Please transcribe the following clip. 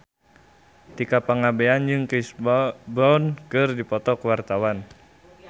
Tika Pangabean jeung Chris Brown keur dipoto ku wartawan